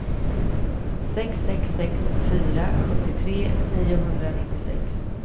sex sex sex fyra sjuttiotre niohundranittiosex